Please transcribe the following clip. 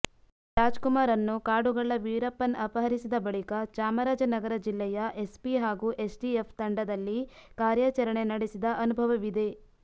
ರಾಜ್ಕುಮಾರ್ರನ್ನು ಕಾಡುಗಳ್ಳ ವೀರಪ್ಪನ್ ಅಪಹರಿಸಿದ ಬಳಿಕ ಚಾಮರಾಜ ನಗರ ಜಿಲ್ಲೆಯ ಎಸ್ಪಿ ಹಾಗೂ ಎಸ್ಟಿಎಫ್ ತಂಡದಲ್ಲಿ ಕಾರ್ಯಾಚರಣೆ ನಡೆಸಿದ ಅನುಭವವಿದೆ